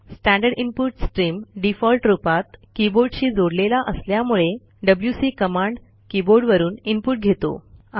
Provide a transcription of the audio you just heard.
standard input stream default रूपात कीबोर्डशी जोडलेला असल्यामुळे डब्ल्यूसी कमांड कीबोर्डवरून इनपुट घेतो